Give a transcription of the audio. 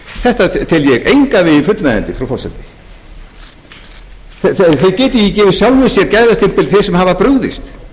þetta tel ég engan veginn fullnægjandi frú forseti þeir geta ekki gefið sjálfum sér gæðastimpil sem hafa brugðist